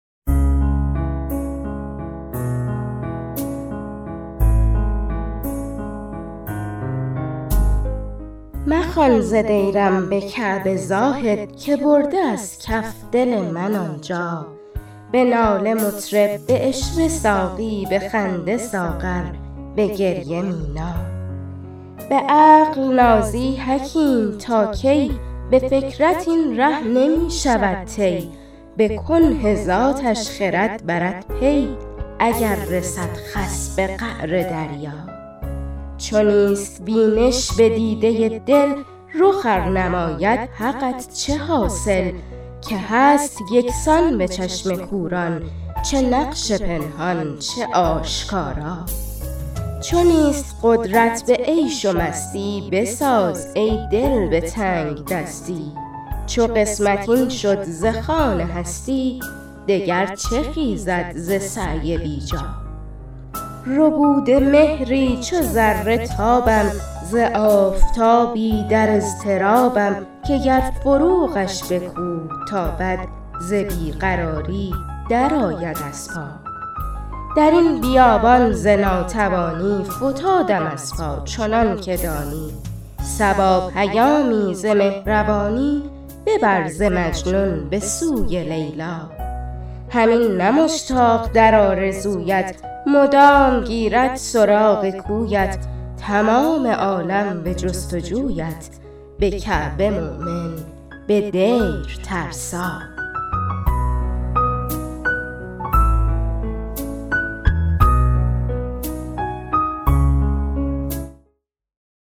مخوان ز دیرم به کعبه زاهد که برده از کف دل من آنجا به ناله مطرب به عشوه ساقی به خنده ساغر به گریه مینا به عقل نازی حکیم تا کی به فکرت این ره نمی شود طی به کنه ذاتش خرد برد پی اگر رسد خس به قعر دریا چو نیست بینش به دیده دل رخ ار نماید حقت چه حاصل که هست یکسان به چشم کوران چه نقش پنهان چه آشکارا چو نیست قدرت به عیش و مستی بساز ای دل به تنگدستی چو قسمت این شد ز خوان هستی دگر چه خیزد ز سعی بیجا ربوده مهری چو ذره تابم ز آفتابی در اضطرابم که گر فروغش به کوه تابد ز بی قراری درآید از پا در این بیابان ز ناتوانی فتادم از پا چنانکه دانی صبا پیامی ز مهربانی ببر ز مجنون به سوی لیلا همین نه مشتاق آرزویت مدام گیرد سراغ کویت تمام عالم به جستجویت به کعبه مومن به دیر ترسا